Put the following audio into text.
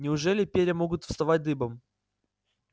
неужели перья могут вставать дыбом